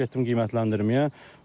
Getdim qiymətləndirməyə.